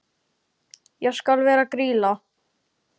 Ég skal vera Grýla.